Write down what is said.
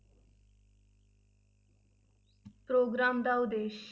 Programme ਦਾ ਉਦੇਸ਼।